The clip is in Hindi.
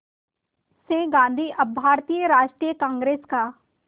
से गांधी अब भारतीय राष्ट्रीय कांग्रेस का